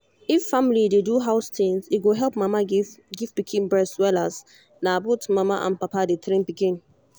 if family dey do house things e go help mama give give pikin breast wellas na both mama and papa dey train pikin